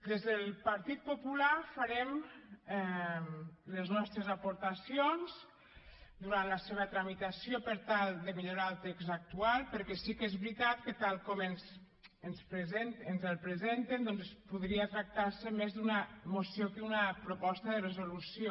des del partit popular farem les nostres aportacions durant la seva tramitació per tal de millorar el text actual perquè sí que és veritat que tal com ens el presenten doncs podria tractar se més d’una moció que d’una proposta de resolució